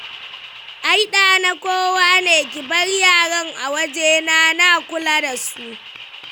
Ai ɗa na kowa ne, ki bar yaran a wajena na kula da su.